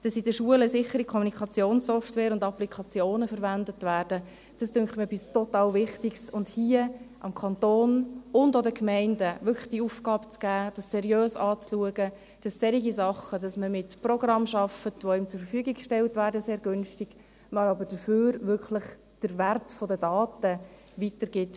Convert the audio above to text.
Dass in den Schulen sichere Kommunikationssoftware und -applikationen verwendet werden, scheint mir etwas total Wichtiges, nämlich hier dem Kanton und auch den Gemeinden wirklich die Aufgabe zu geben, das seriös anzuschauen, damit solche Sachen künftig nicht mehr passieren, weil man mit Programmen arbeitet, die einem sehr günstig zur Verfügung gestellt werden, man dafür aber wirklich den Wert der Daten weitergibt.